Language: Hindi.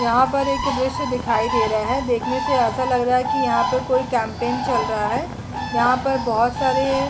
यहां पर एक दृश्य दिखाई दे रहा है देखने से ऐसा लग रहा है की यहाँ पर कोई कैम्पैन चल रहा है यहां पर बहुत सारे--